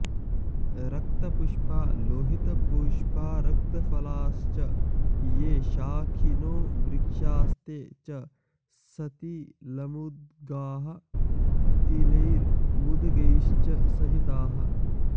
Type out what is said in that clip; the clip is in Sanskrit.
रक्तपुष्पा लोहितपुष्पा रक्तफलाश्च ये शाखिनो वृक्षास्ते च सतिलमुद्गाः तिलैर्मुद्गैश्च सहिताः